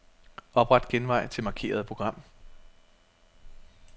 Opret genvej til markerede program.